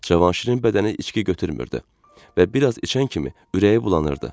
Cavanşirin bədəni içki götürmürdü və biraz içən kimi ürəyi bulanırdı.